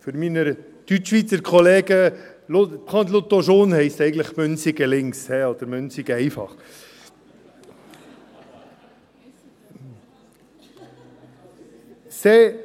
Für meine Deutschschweizer Kollegen :« prendre l’auto jaune » heisst « in Münsingen links » oder « Münsigen einfach ».